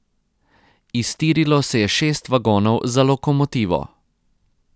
Iztirilo se je šest vagonov za lokomotivo.